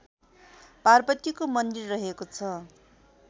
पार्वतीको मन्दिर रहेको छ